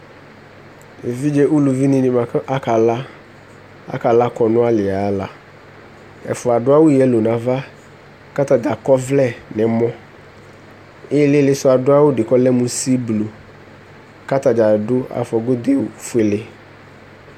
evidze uluvi ni boa ko aka la aka la kɔnu ayi ala ɛfoa ado awu yɛlo no ava ko atadza akɔ ɔvlɛ no ɛmɔ ilele so ado awu di ko ɔlɛ mo siblu ko atadza ado afɔ godo fuele